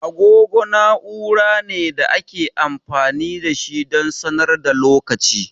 Agogo na'ura ne da ake amfani da shi don sanar da lokaci.